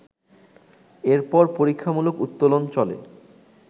এরপর পরীক্ষামূলক উত্তোলন চলে